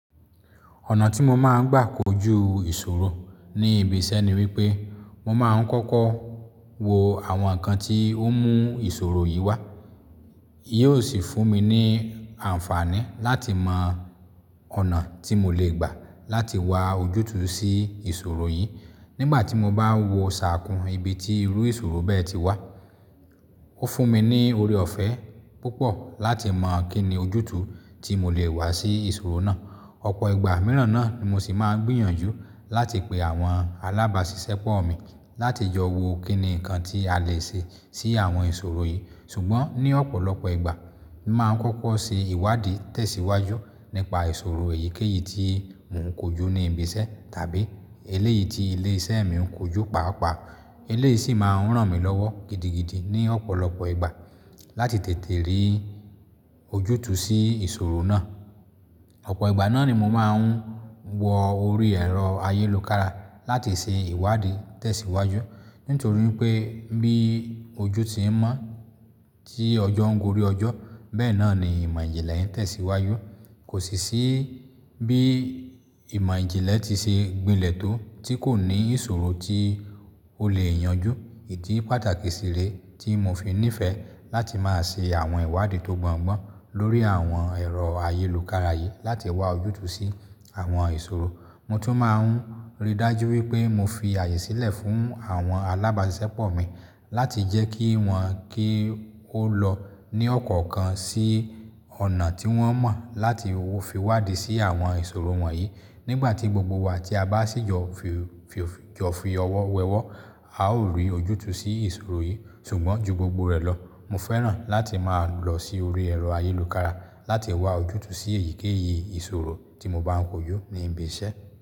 Ọ̀nà tí mo máa ń gbà kojú ìṣòro ní ibi iṣẹ́ ni wípé, mo máa ń kọ́kọ́ wo àwọn nǹkan tí ó mú ìṣòro yìí wá. Yóò sì fún mi ní àǹfààní láti mọ ọ̀nà tí mo lè gbà láti wá ojútùú sí ìṣòro yìí. Nígbà tí mo bá ń wo ṣàkún ibi tí irú ìṣòro bẹ́ẹ̀ ti wá. Ó fún mi ní ọrẹ ọ̀fẹ́ púpọ̀ láti mọ kín ni ojútùú tí mo lè wá sí ìṣòro náà. Ọ̀pọ̀ ìgbà mìíràn náà ni mo sì máa ń gbìyànjú láti pe àwọn alábàáṣiṣẹ́pọ̀ mi láti jọ̀ wo kín ni nǹkan tí a lè ṣe sí àwọn ìṣòro yìí. Ṣùgbọ́n ní ọ̀pọ̀lọpọ̀ ìgbà, máa ń kọ́kọ́ ṣe ìwádìí tẹ̀síwájú nípa ìṣòro èyíkéyìí tí mò ń kojú ní ibi iṣẹ́ tàbí eléyìí tí ilé iṣẹ́ mi ń kojú paapaa. Eléyìí sì máa ń ràn mí lọ́wọ́ gidigidi ní ọ̀pọ̀lọpọ̀ ìgbà láti tètè rí ojútùú sí ìṣòro náà. Ọ̀pọ̀ ìgbà náà ni mo máa ń wọ orí ẹ̀rọ ayélòkára láti ṣe ìwádìí tẹ̀síwájú. Nítorí pé bí ojú ti ń mọ́ tí ọjọ́ ń gori ọjọ́, bẹ́ẹ̀ náà ni ìmọ̀ ìjìnlẹ̀ ń tẹ̀síwájú. Kò sì ṣí bí ìmọ̀ ìjìnlẹ̀ ti ṣe gbinlẹ̀ tó tí kò ní ìṣòro tí ó lè yanjú. Idí pàtàkì sì rèé tí mo fi nífẹ̀ẹ́ láti máa ṣe àwọn ìwádìí tó gbọ́ngbọ́n lórí àwọn ẹ̀rọ ayélukára yìí láti wá ojútùú sí àwọn ìṣòro. Mo tún máa ń rí dájú wípé mo fi àyè sílẹ̀ fún àwọn alábàáṣiṣẹ́pọ̀ mi láti jẹ́ kí wọ́n kí ó lọ ní ọ̀kọ̀ọ̀kan sí ọ̀nà tí wọ́n mọ̀ láti fi wádìí sí àwọn ìṣòro wọ̀nyí. Nígbà tí gbogbo wa tí a bá sì jọ fi ọwọ́ wẹ ọwọ́, a ó rí ojútùú sí ìṣòro yìí. Ṣùgbọ́n ju gbogbo rẹ̀ lọ, mo fẹ́ràn láti máa lọ sí orí ẹ̀rọ ayélòkára láti wá ojútùú sí èyíkéyìí ìṣòro tí mo bá ń kojú ní ibi iṣẹ́.